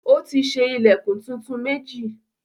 Ó ti ṣe ilẹ̀kùn tuntun méjì.